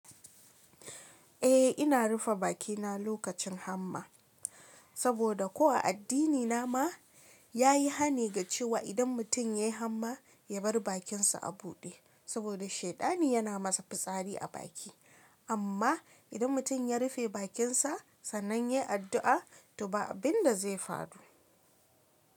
Eh ina rufe bakina lokacin hamma, saboda kuwa addini na ma ya yi hani ga cewa idan mutum ya yi hamma ya bar bakin sa a buɗe saboda shaitani yana masa fitsari a baki. Amma idan mutum ya rufe bakin sa sannan ya yi addu'a, toh ba abin da zai faru.